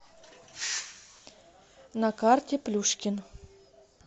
на карте плюшкин